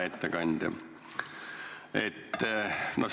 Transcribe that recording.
Hea ettekandja!